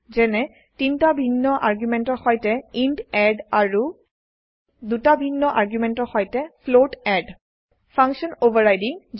যেনে তিনটা ভিন্ন আৰ্গুমেন্টৰ সৈতে ইণ্ট এড আৰু দুটা ভিন্ন আৰ্গুমেন্টৰ সৈতে ফ্লোট এড ফাংচন অভাৰৰাইডিং